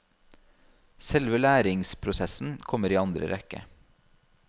Selve læringsprosessen kommer i andre rekke.